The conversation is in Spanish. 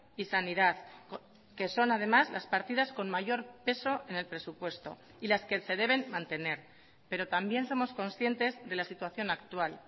y sanidad que son además las partidas con mayor peso en el presupuesto y las que se deben mantener pero también somos conscientes de la situación actual